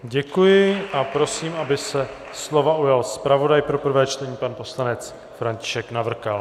Děkuji a prosím, aby se slova ujal zpravodaj pro prvé čtení, pan poslanec František Navrkal.